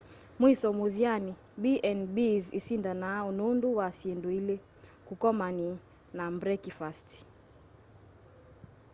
mwiso muthyani b&bs isindanaa nundu wa syindu ili kukomani na mbrekifasti